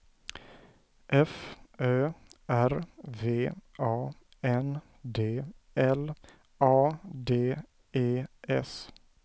F Ö R V A N D L A D E S